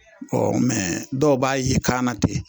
O dɔw b'a ye kan na ten